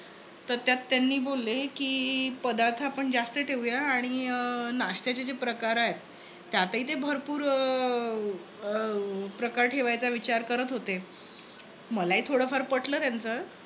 तर त्यात त्यांनी बोलले, कि पदार्थ आपण जास्त ठेवूयात आणि नाश्त्याचे जे काही प्रकार आहेत. त्यातही ते भरपूर अं अह प्रकार ठेवायचा विचार करत होते. मलाही थोडफार पटलं त्याचं